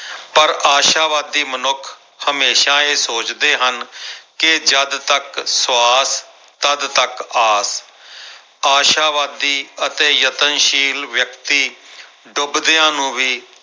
ਪਰ ਆਸ਼ਾਵਾਦੀ ਮਨੁੱਖ ਹਮੇਸ਼ਾ ਇਹ ਸੋਚਦੇ ਹਨ ਕਿ ਜਦ ਤੱਕ ਸਵਾਸ ਤੱਦ ਤੱਕ ਆਸ ਆਸ਼ਾਵਾਦੀ ਅਤੇ ਯਤਨਸ਼ੀਲ ਵਿਅਕਤੀ ਡੁਬਦਿਆਂ ਨੂੰ ਵੀ